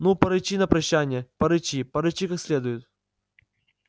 ну порычи на прощанье порычи порычи как следует